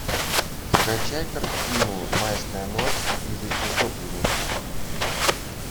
скачай картину майская ночь или утопленница